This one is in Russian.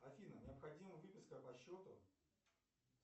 афина необходима выписка по счету